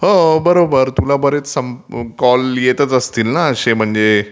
हो बरोबर तुला बरेच कॉल येतचं असतील ना असे म्हणजे